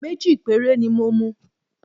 Méjì péré ni mo mu